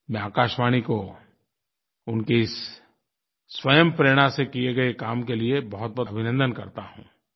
मैं आकाशवाणी को उनके इस स्वयं प्रेरणा से किए गए काम के लिये बहुतबहुत अभिनन्दन करता हूँ